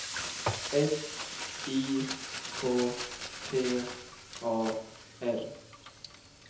S I K T A R